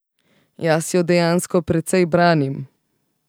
Jaz jo dejansko precej branim.